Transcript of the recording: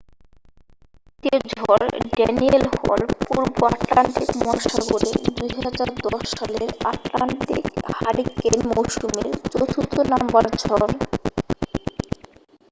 ক্রান্তীয় ঝড় ড্যানিয়েল হল পূর্ব আটলান্টিক মহাসাগরে 2010 সালের আটলান্টিক হারিকেন মৌসুমের চতুর্থ নাম্বার ঝড়